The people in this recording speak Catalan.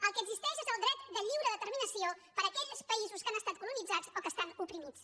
el que existeix és el dret de lliure determinació per a aquells països que han estat colonitzats o que estan oprimits